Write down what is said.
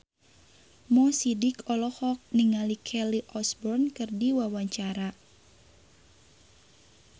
Mo Sidik olohok ningali Kelly Osbourne keur diwawancara